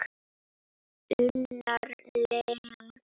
Unnar Leó.